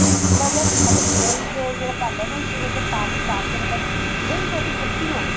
ਵੀ ਥੋੜਾ ਜਾ ਮਤਲਬ ਦਹੀ ਦੇ ਜਿਹੜਾ ਪਾਨੇ ਆ ਨਾ ਇਸ ਚ ਥੋੜਾ ਜਾ ਪਾਣੀ ਪਾ ਕੇ ਮਤਲਬ ਦਹੀ ਤੁਹਾਡੀ ਖੱਟੀ ਹੋਵੇ